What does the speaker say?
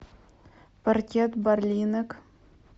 паркет барлинек